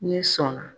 N'i sɔnna